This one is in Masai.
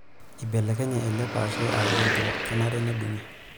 Eibelekenye ele paashe akuu entim kenare nedungi.